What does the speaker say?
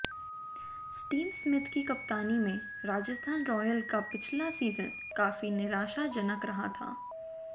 Steve Smith की कप्तानी में राजस्थान रॉयल्स का पिछला सीजन काफी निराशाजनक रहा था